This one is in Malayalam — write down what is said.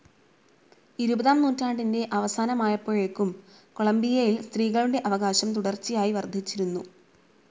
ഇരുപതാം നൂറ്റാണ്ടിൻ്റെ അവസാനമായപ്പോഴേക്കും കൊളമ്പിയയിൽ സ്ത്രീകളുടെ അവകാശം തുടർച്ചയായി വർദ്ധിച്ചുവന്നു.